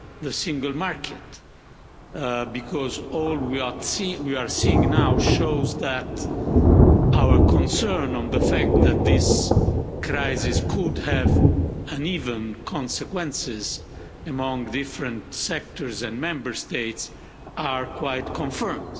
the single market, because all we are seeing now shows that our concerns about the fact that this crisis could have uneven consequences among different sectors and Member States have been confirmed.